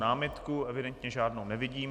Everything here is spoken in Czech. Námitku evidentně žádnou nevidím.